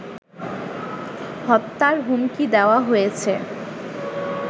হত্যার হুমকি দেওয়া হয়েছে